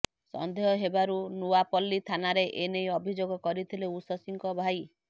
ସନ୍ଦେହ ହେବାରୁ ନୟାପଲ୍ଲୀ ଥାନାରେ ଏନେଇ ଅଭିଯୋଗ କରିଥିଲେ ଉଷଶ୍ରୀଙ୍କ ଭାଇ